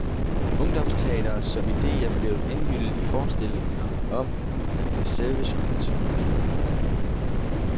Ungdomsteatret som idé er blevet indhyllet i forestillinger om, at det er serviceydelser, man tilbyder.